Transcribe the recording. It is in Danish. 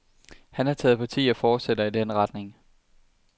Han har taget parti og fortsætter i den retning.